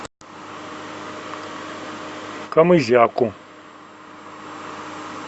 камызяку